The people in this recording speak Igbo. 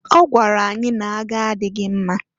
Ọ gwara anyị n'agha adịghị mma.